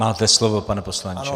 Máte slovo, pane poslanče.